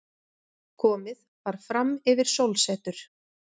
Komið var frammyfir sólsetur.